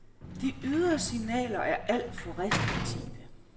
De ydre signaler er alt for restriktive.